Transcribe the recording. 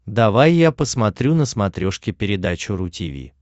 давай я посмотрю на смотрешке передачу ру ти ви